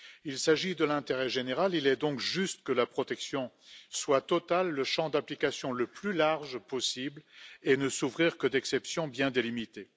Il s'agit de l'intérêt général il est donc juste que la protection soit totale, le champ d'application devant être le plus large possible et ne souffrir que d'exceptions bien délimitées.